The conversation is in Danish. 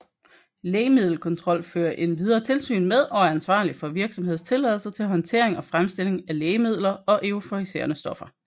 Lægemiddelkontrol fører endvidere tilsyn med og er ansvarlig for virksomhedstilladelser til håndtering og fremstilling af lægemidler og euforiserende stoffer